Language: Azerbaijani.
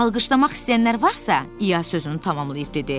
Alqışlamaq istəyənlər varsa, İa sözünü tamamlayıb dedi.